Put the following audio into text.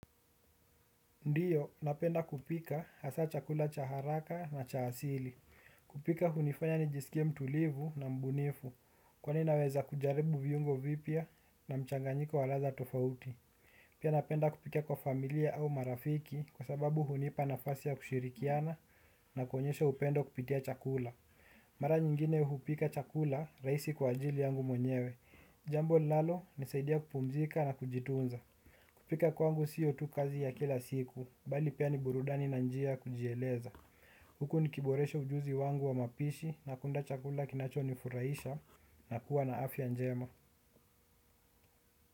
Ndiyo, napenda kupika hasa chakula cha haraka na cha asili. Kupika hunifanya ni jisikie mtulivu na mbunifu kwani naweza kujaribu viungo vipya na mchanganyiko waladha tofauti. Pia napenda kupika kwa familia au marafiki kwa sababu hunipa nafasi ya kushirikiana na kuonyesha upendo kupitia chakula. Mara nyingine hupika chakula rahisi kwa ajili yangu mwenyewe. Jambo linalo nisaidia kupumzika na kujitunza. Kupika kwangu sio tu kazi ya kila siku. Bali pia ni burudani na njia ya kujieleza. Huku nikiboresha ujuzi wangu wa mapishi na kunda chakula kinacho ni furahisha na kuwa na afya njema.